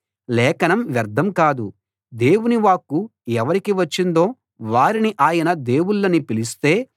లేఖనం వ్యర్థం కాదు దేవుని వాక్కు ఎవరికి వచ్చిందో వారిని ఆయన దేవుళ్ళని పిలిస్తే